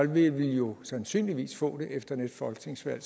vil vi jo sandsynligvis få det efter næste folketingsvalg